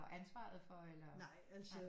Ansvaret for eller